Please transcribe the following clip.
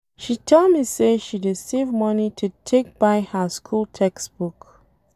She tell me say she dey save money to take buy her school textbook.